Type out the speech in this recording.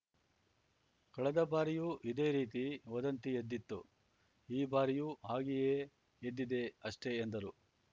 ಕಳೆದ ಬಾರಿಯೂ ಇದೆ ರೀತಿ ವದಂತಿ ಎದ್ದಿತ್ತು ಈ ಬಾರಿಯೂ ಹಾಗೆಯೇ ಎದ್ದಿದೆ ಅಷ್ಟೇ ಎಂದರು